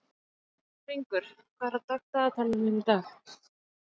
Hringur, hvað er á dagatalinu mínu í dag?